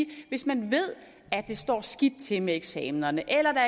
det hvis man ved at det står skidt til med eksamenerne eller